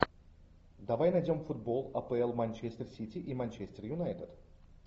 давай найдем футбол апл манчестер сити и манчестер юнайтед